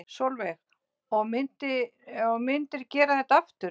Sólveig: Og myndir gera þetta aftur?